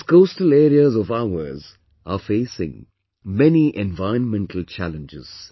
These coastal areas of ours are facing many environmental challenges